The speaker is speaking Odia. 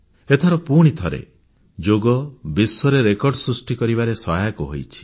ଏଥର ପୁଣିଥରେ ଯୋଗ ବିଶ୍ୱରେକର୍ଡ଼ ସୃଷ୍ଟି କରିବାରେ ସହାୟକ ହୋଇଛି